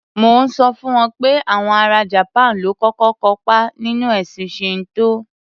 Mò ń sọ fún wọn pé àwọn ara Japan ló kọ́kọ́ kópá nínú ẹ̀sìn Shinto.